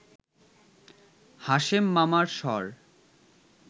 হাশেম মামার স্বর